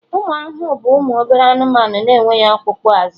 ụmụ ahụhụ bụ ụmụ obere anụmanụ na-enweghị ọkpụkpụ azụ